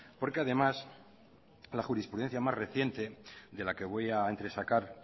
porque además la jurisprudencia más reciente de la que voy a entresacar